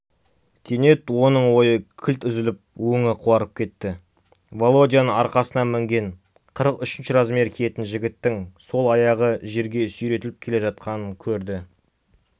кенет оның ойы кілт үзіліп өңі қуарып кетті володяның арқасына мінген қырық үшінші размер киетін жігіттің сол аяғы жерге сүйретіліп келе жатқанын көрді